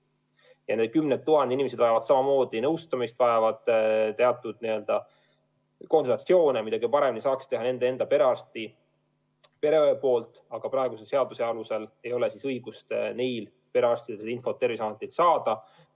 Ja need kümned tuhanded inimesed vajavad nõustamist, vajavad teatud konsultatsioone, mida paremini saaks anda nende perearst või pereõde, aga praeguse seaduse alusel ei ole õigust perearstidel seda infot Terviseametilt saada.